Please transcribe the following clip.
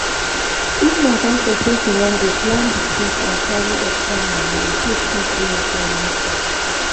if na concert person wan goplan di trip and carry extra money incase thins wey im no plan sup